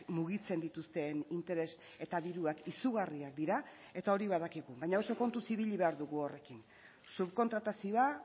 mugitzen dituzten interes eta diruak izugarriak dira eta hori badakigu baina oso kontuz ibili behar dugu horrekin subkontratazioa